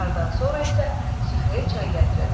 Nahardan sonra isə süfrəyə çay gətirildi.